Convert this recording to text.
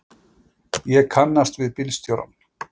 Ég kannast við bílstjórann.